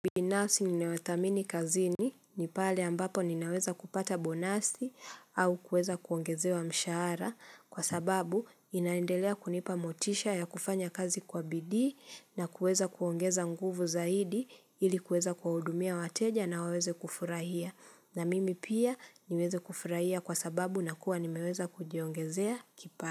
Binafsi ninawathamini kazini ni pale ambapo ninaweza kupata bonasi au kuweza kuongezewa mshahara kwa sababu inaendelea kunipa motisha ya kufanya kazi kwa bidii na kuweza kuongeza nguvu zaidi ili kuweza kuwahudumia wateja na waweze kufurahia na mimi pia niweze kufurahia kwa sababu na kuwa nimeweza kujiongezea kipato.